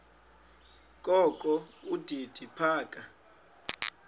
kokho udidi phaka